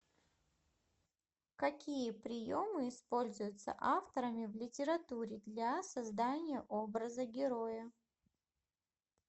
какие приемы используются авторами в литературе для создания образа героя